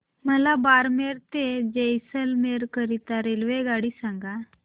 मला बारमेर ते जैसलमेर करीता रेल्वेगाडी सांगा